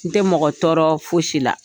N tɛ mɔgɔ tɔɔrɔ fosi la.